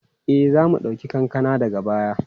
E, za mu ɗauki kankana daga baya.